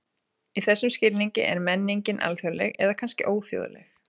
Í þessum skilningi er menning alþjóðleg, eða kannski óþjóðleg.